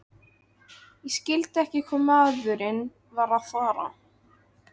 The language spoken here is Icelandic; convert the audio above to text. Ég skildi ekki hvað maðurinn var að fara.